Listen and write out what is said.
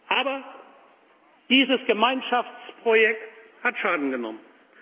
Aber dieses Gemeinschaftsprojekt hat Schaden genommen.